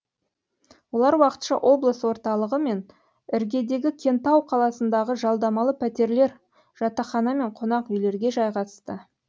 олар уақытша облыс орталығы мен іргедегі кентау қаласындағы жалдамалы пәтерлер жатақхана мен қонақ үйлерге жайғасты